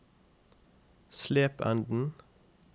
Slependen